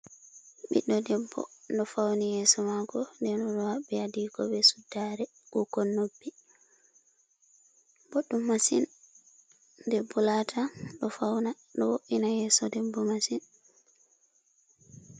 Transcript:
ɓiɗɗo debbo ɗo fawni yeeso maako n deno ɗo fawni adiiko bee suddaare, kuukon noppi boɗɗum masin debbo laata ɗo fawna ɗo wo''ina yeeso debbo masin.